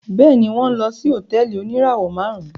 Bẹẹni, wọn nlọ sí hotẹẹli onirawọ márùn